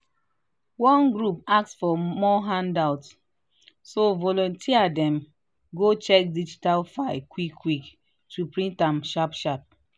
one group ask for more handout so volunteer dem go check digital file quick-quick to print am sharp-sharp